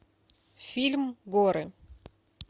фильм горы